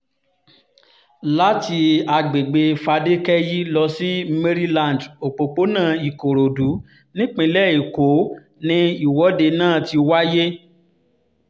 láti àgbègbè fadékẹ́yí lọ sí maryland òpópónà ìkòròdú nípínlẹ̀ èkó ni ìwọ́de náà ti wáyé